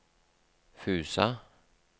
Fusa